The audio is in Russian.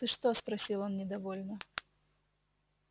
ты что спросил он недовольно